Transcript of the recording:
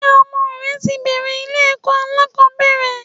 Ṣé ọmọ rẹ ti bẹ̀ẹ̀rẹ̀ ilé ẹ̀kọ́ alákọ̀ọ́bẹ̀rẹ̀?